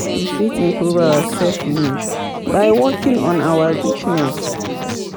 We fit improve our self image by working on our weaknesses